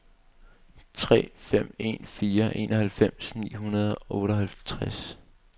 tre fem en fire enoghalvfems ni hundrede og otteoghalvtreds